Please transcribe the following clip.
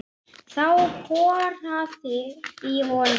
Þá korraði í honum.